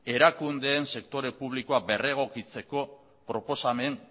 erakundeen sektore publikoak berregokitzeko proposamen